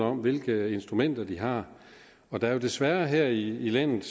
om hvilke instrumenter de har for der er jo desværre her i landet